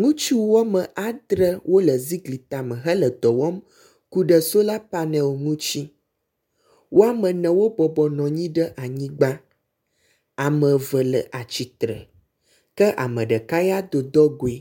Ŋutsu woame adre wole zigli tame hele dɔwɔm ku ɖe solar panel ŋutsi, woame ene wo bɔbɔ nɔ anyi ɖe anyigba, ame eve le atsi tre ke ame ɖeka ya do dɔgoe.